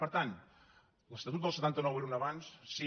per tant l’estatut del setanta nou era un avanç sí